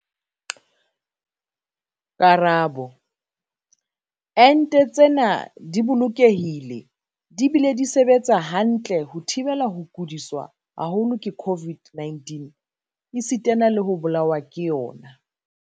Karabo- Ente tsena di bolokehile di bile di sebetsa hantle ho thibela ho kudiswa haholo ke COVID-19 esitana le ho bolawa ke yona.